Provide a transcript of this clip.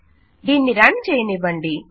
దీన్ని రన్ చేయనివ్వండి